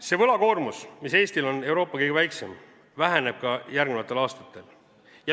See võlakoormus, mis Eestil on Euroopa kõige väiksem, väheneb ka järgnevatel aastatel.